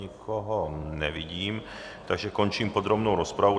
Nikoho nevidím, takže končím podrobnou rozpravu.